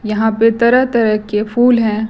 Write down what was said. यहां पे तरह तरह के फूल हैं।